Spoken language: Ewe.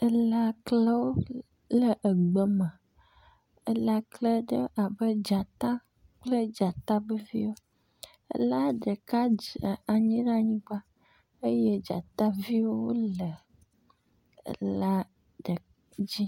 Elaklēwo le egbe me elakle ɖe abe dzata kple dzata be viwó ela ɖeka dze anyi ɖe anyigba eye dzataviwo le ela ɖe dzí